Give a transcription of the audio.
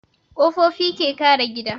Ƙofofi ke kare gida